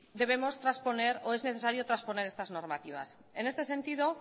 debemos trasponer o es necesario trasponer estas normativas en este sentido